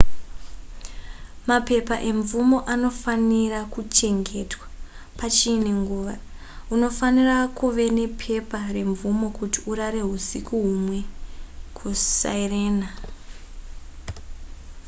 mapepa emvumo anofanira kuchengetwa pachiine nguva unofanira kuve nepepa remvumo kuti urare husiku humwe kusirena